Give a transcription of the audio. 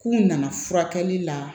K'u nana furakɛli la